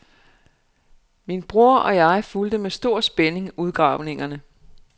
Min bror og jeg fulgte med stor spænding udgravningerne.